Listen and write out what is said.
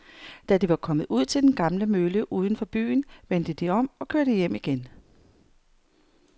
Da de var kommet ud til den gamle mølle uden for byen, vendte de om og kørte hjem igen.